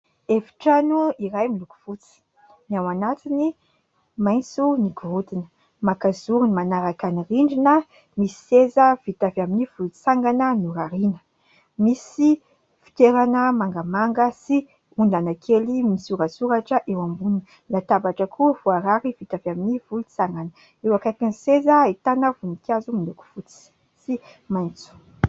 Hefitrano iray miloko fotsy. Ny ao anatiny maitso ny gorodina maka zorony manaraka ny rindrina misy seza vita avy amin'ny volotsangana norariana. Misy fitoerana mangamanga sy ondana kely misoratsoratra eo amboniny. Latabatra koa voarary vita avy amin'ny volontsangana eo ankaiky ny seza ahitana voninkazo miloko fotsy sy maitso.